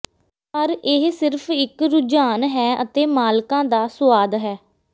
ਪਰ ਇਹ ਸਿਰਫ ਇਕ ਰੁਝਾਨ ਹੈ ਅਤੇ ਮਾਲਕਾਂ ਦਾ ਸੁਆਦ ਹੈ